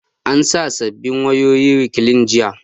An sa sabbin wayoyin rekliin jiya